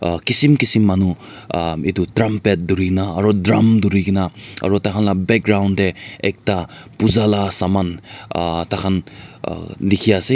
uh kisim kisim manu aah itu trumpet dhurina drum dhurina aru taihan la back ground deh ekta pooja la saman ahh taihan ah dikhi ase.